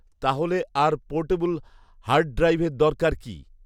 তাহলে আর পোর্টেবল হার্ডড্রাইভের দরকার কি